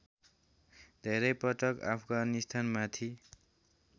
धेरै पटक अफगानिस्तानमाथि